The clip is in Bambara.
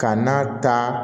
Ka n'a ta